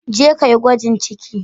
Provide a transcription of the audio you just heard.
Je ka yi gwajin cikin.